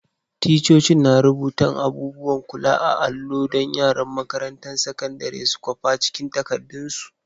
Ticcocin na rubutan abubuwan kula a'allo dan yaran makarantan sakandaren su kwapa cikin takadun su.